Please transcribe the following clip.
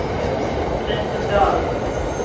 Kristin Dahlen